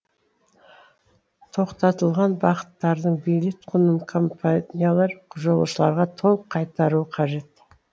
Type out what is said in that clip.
тоқтатылған бағыттардың билет құнын компаниялар жолаушыларға толық қайтаруы қажет